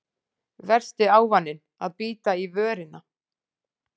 Versti ávaninn að bíta í vörina